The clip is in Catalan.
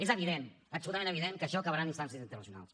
és evident absolutament evident que això acabarà en instàncies internacionals